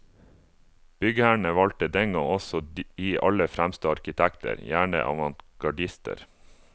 Byggherrene valgte den gang også de aller fremste arkitekter, gjerne avantgardister.